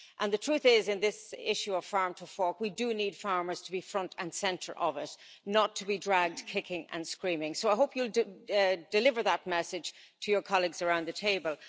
The truth is that, in this issue of Farm to Fork, we do need farmers to be front and centre of it, not to be dragged kicking and screaming. Commissioner, I hope you'll deliver that message to your colleagues around the table.